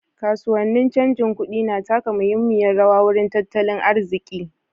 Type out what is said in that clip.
Kasuwannin canjin kuɗi na taka muhimmiyar rawa wurin tattalin arziƙi.